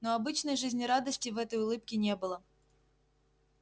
но обычной жизнерадостности в этой улыбке не было